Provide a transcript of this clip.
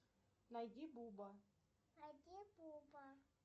найди буба